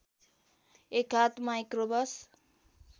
एकाध माइक्रो बस